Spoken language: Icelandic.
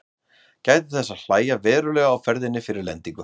Gætið þess að hægja verulega á ferðinni fyrir lendingu.